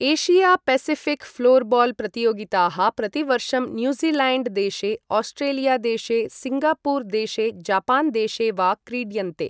Asia Pacific floorball प्रतियोगिताः प्रतिवर्षं New Zealand देशे, आस्ट्रेलिया देशे, सिङ्गापुर देशे, जापान देशे वा क्रीड्यन्ते।